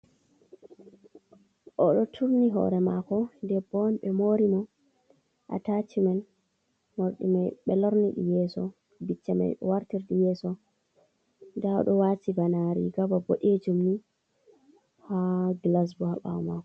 Oɗo turni hore mako debbo on ɓe mori mo a taci men morɗi mai ɓe lorniɗi yeso, bicca mai e wartirɗi yeso, nda ɗo wati bana riga bana boɗejum ni ha gilas bo ha ɓawo mako.